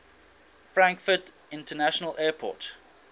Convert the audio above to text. frankfurt international airport